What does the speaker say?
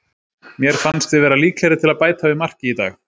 Mér fannst við vera líklegri til að bæta við marki í dag.